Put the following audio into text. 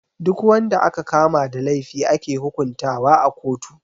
Duk wanda aka kama da laifi ake hukuntawa a kotu.